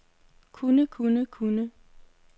kunne kunne kunne